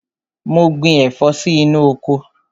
Mo gbin ẹ̀fọ́ sí inú oko.